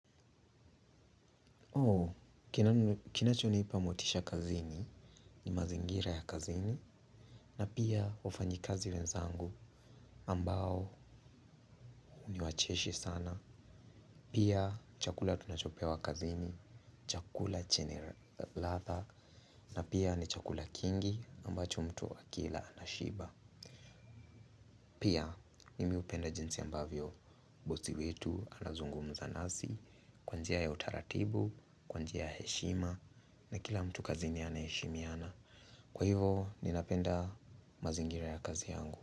Kinachonipa motisha kazini ni mazingira ya kazini na pia wafanyikazi wenzangu ambao ni wacheshi sana pia chakula tunachopewa kazini, chakula chenye ladha na pia ni chakula kingi ambacho mtu akila anashiba pia mimi hupenda jinsi ambavyo bosi wetu anazungumza nasi kwa njia ya utaratibu, kwa njia ya heshima na kila mtu kazi ni anesheshimiana kwa hivo, ninapenda mazingira ya kazi yangu.